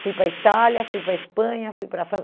Fui para a Itália, fui para a Espanha, fui para a França.